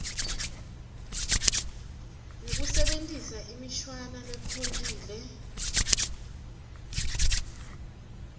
ngekusebentisa imishwana lekhontile